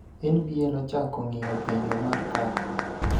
NBA nochako ng�iyo penjo mar kaka